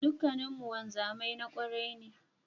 Duka mun wanzami mai kwarai ne